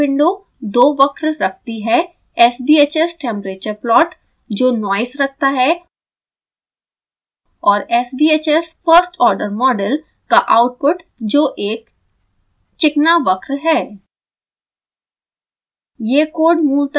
यह plot window दो वक्र रखती है sbhs temperature plot जो noise रखता है और sbhs first order model का आउटपुट जो एक चिकना वक्र है